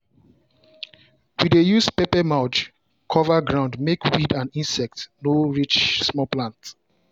we dey use paper mulch cover ground make weed and insect no reach small plant.